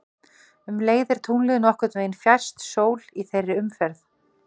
Um leið er tunglið nokkurn veginn fjærst sól í þeirri umferð.